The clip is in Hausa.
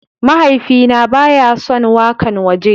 Mahaifina ba ya son wakan waje.